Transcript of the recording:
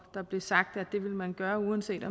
der blev sagt at det vil man gøre uanset